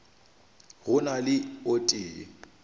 go na le o tee